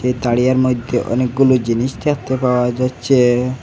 তারিয়ার মইধ্যে অনেকগুলো জিনিস দেখতে পাওয়া যাচ্ছে।